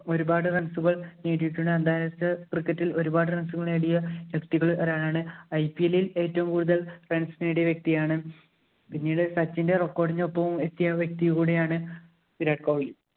ഒരുപാടു runs ഉകള്‍ നേടിയിട്ടുണ്ട്. അന്താരാഷ്‌ട്ര cricket ഇല്‍ ഒരുപാട് runs നേടിയ വ്യക്തികളില്‍ ഒരാളാണ്. IPL ഇല്‍ ഒരുപാട് runs നേടിയ വ്യക്തിയാണ്. പിന്നീട് സച്ചിന്‍റെ record ഇന് ഒപ്പവും എത്തിയ വ്യക്തി കൂടിയാണ് വിരാട് കോഹിലി.